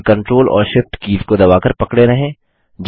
केवल कंट्रोल और Shift keys को दबाकर पकड़े रहें